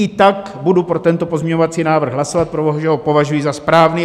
I tak budu pro tento pozměňovací návrh hlasovat, protože ho považuji za správný.